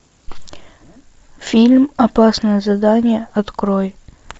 фильм опасное задание открой